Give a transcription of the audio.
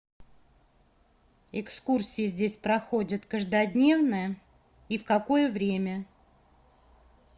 экскурсии здесь проходят каждодневно и в какое время